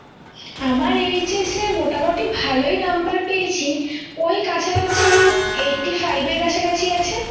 আমার HS এ মোটামটি ভালোই number পেয়েছি ওই কাছাকাছি eighty five এর কাছাকাছি আছে